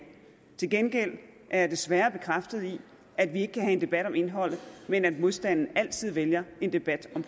til gengæld er jeg desværre blevet bekræftet i at vi ikke kan have en debat om indholdet men at modstanderne altid vælger en debat om